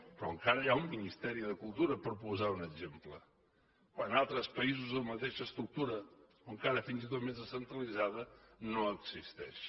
però encara hi ha un ministeri de cultura per posar ne un exemple quan en altres països amb la mateixa estructura o encara fins i tot més descentralitzada no existeix